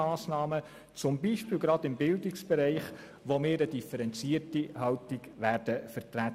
Zum Beispiel werden wir zu Massnahmen im Bildungsbereich eine differenzierte Haltung vertreten.